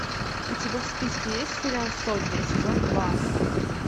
у тебя в списке есть сериал сотня сезон два